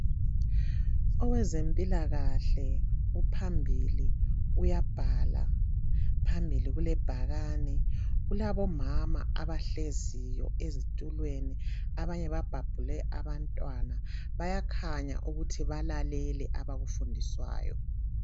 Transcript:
owezempilakahle uphambili uyabhala phambili kulebhakane kulabo mama abahleziyo ezitulweni abanye babhabhule abantwana bayakhanya ukuthi balalele abakufundiswayo